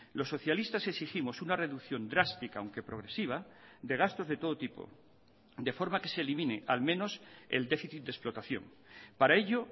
los socialistas exigimos una reducción drástica aunque progresiva de gastos de todo tipo de forma que se elimine al menos el déficit de explotación para ello